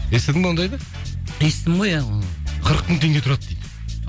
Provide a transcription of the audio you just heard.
естідің бе ондайда естідім ғой иә қырық мың теңге тұрады дейді